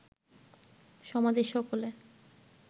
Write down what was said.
সমাজের সকলে